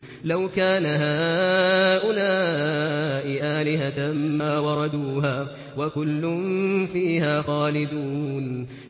لَوْ كَانَ هَٰؤُلَاءِ آلِهَةً مَّا وَرَدُوهَا ۖ وَكُلٌّ فِيهَا خَالِدُونَ